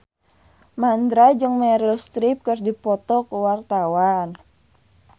Mandra jeung Meryl Streep keur dipoto ku wartawan